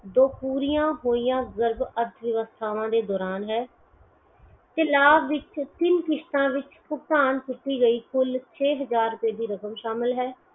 ਤੋਹ ਪੂਰੀਆਂ ਹੋਈਆ ਗਰਬ ਅਰਥ ਵਿਵਸਥਾਵਾਂ ਦੇ ਦੋਰਾਨ ਹੈ ਤੇ ਲਾਭ ਵਿੱਚ ਤਿੰਨ ਕਿਸਤਾ ਵਿੱਚ ਭੁਗਤਾਨ ਕੀਤੀ ਗਈ ਕੁੱਲ ਛੇ ਹਜਾਰ ਦੀ ਰਕਮ ਸ਼ਾਮਿਲ ਹੈ